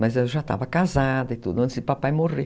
Mas eu já estava casada e tudo, antes de papai morrer.